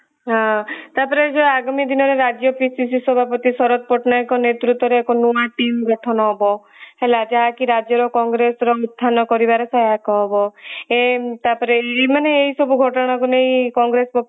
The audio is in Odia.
ହଁ ତାପରେ ଆଗାମୀ ଦିନରେ ରାଜ୍ୟ PCC ସଭାପତି ଶରତ ପଟ୍ଟନାୟକ ନେତୃତ୍ବରେ ଏକ ନୂଆ team ଗଠନ ହେବ ହେଲା ଯାହା କି ରାଜ୍ୟ ର କଂଗ୍ରେସର ଊଥାନ କରିବାରେ ସହାୟତା ହବ ତାପରେ ମାନେ ଏଇ ସବୁ ଘଟଣା କୁ ନେଇ କଂଗ୍ରେସ ପକ୍ଷରୁ